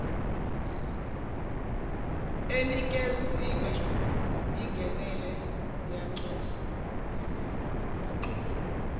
enikeziwe ingenele uyanxuswa